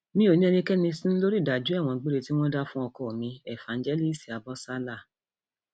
mi ò ní ẹnikẹni sínú lórí ìdájọ ẹwọn gbére tí wọn dá fún ọkọ mi éfànjẹlíìsì abọsálà